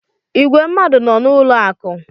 Ìgwè mmadụ nọ n’ụlọ akụ̀.